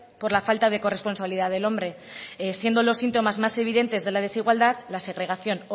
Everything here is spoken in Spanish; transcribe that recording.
por la falta de corresponsabilidad del hombre siendo los síntomas más evidentes de la desigualdad la segregación